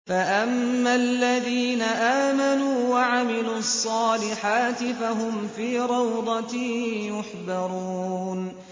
فَأَمَّا الَّذِينَ آمَنُوا وَعَمِلُوا الصَّالِحَاتِ فَهُمْ فِي رَوْضَةٍ يُحْبَرُونَ